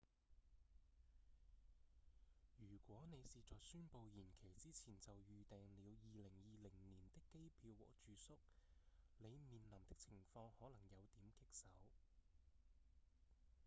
如果你是在宣布延期之前就預訂了2020年的機票和住宿你面臨的情況可能有點棘手